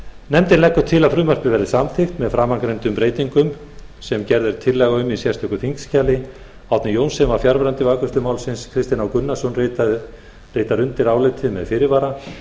nefndin leggur til að frumvarpið verði samþykkt með framangreindum breytingum sem gerð er tillaga um í sérstöku þingskjali árni johnsen var fjarverandi við afgreiðslu málsins kristinn h gunnarsson ritar undir álit þetta með fyrirvara